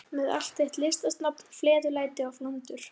Með allt þitt listasnobb, fleðulæti og flandur.